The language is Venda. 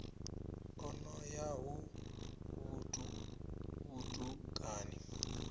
o no ya ho vhutukani